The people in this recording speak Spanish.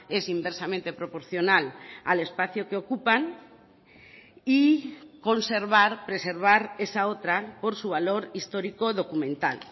es inversamente proporcional al espacio que ocupan y conservar preservar esa otra por su valor histórico documental